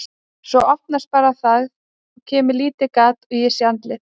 Svo opnast bara og það kemur lítið gat og ég sé andlit.